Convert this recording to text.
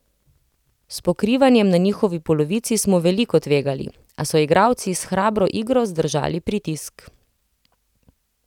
S pokrivanjem na njihovi polovici smo veliko tvegali, a so igralci s hrabro igro zdržali pritisk.